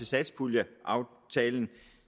satspuljeaftalen